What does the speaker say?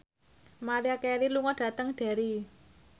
Maria Carey lunga dhateng Derry